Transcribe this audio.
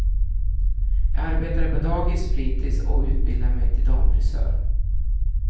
Jag arbetade på dagis, fritis och utbildade mig till damfrisör.